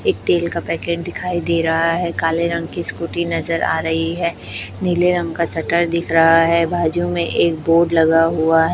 एक तेल का पैकेट दिखाई दे रहा है काले रंग की स्कूटी नजर आ रही है नीले रंग का शटर दिख रहा है बाजू में एक बोर्ड लगा हुआ--